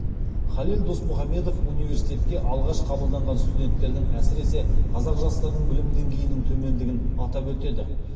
халел досмұхамедов университетке алғаш қабылданған студенттердің әсіресе қазақ жастарының білім деңгейінің төмендігін атап өтеді